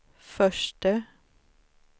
förste